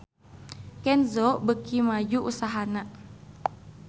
Kenzo beuki maju usahana